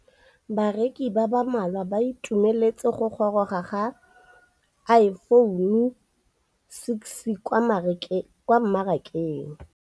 Bareki ba ba malwa ba ituemeletse go gôrôga ga Iphone6 kwa mmarakeng.